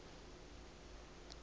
yendlovana